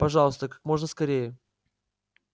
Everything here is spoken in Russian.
пожалуйста как можно скорее